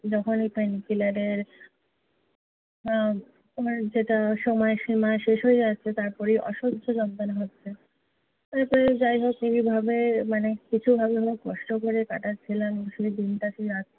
যখনই pain killer এর আহ ওর যেটা সময়সীমা শেষ হয়ে যাচ্ছে তারপরেই অসহ্য যন্ত্রনা হচ্ছে। তারপরে যাই হোক এইভাবে মানে কিছু ভালো না মানে কষ্ট করে কাটাচ্ছিলাম শুধু দিনটা কী রাতটা